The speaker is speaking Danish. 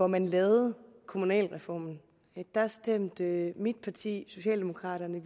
man lavede kommunalreformen stemte mit parti socialdemokraterne